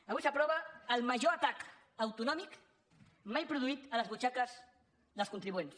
avui s’aprova el major atac autonòmic mai produït a les butxaques dels contribuents